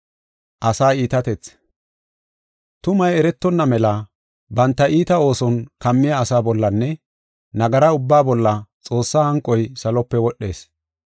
Tumay eretonna mela banta iita ooson kammiya asaa bollanne nagara ubbaa bolla, Xoossaa hanqoy salope wodhees.